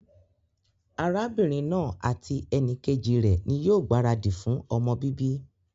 Arábínrin naa àti enìkejì rè ní yío gbàradì fun ọmọ bíbí